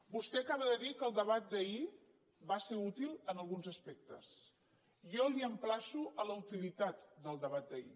vostè acaba de dir que el debat d’ahir va ser útil en alguns aspectes jo l’emplaço a la utilitat del debat d’ahir